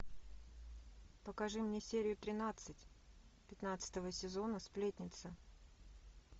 покажи мне серию тринадцать пятнадцатого сезона сплетница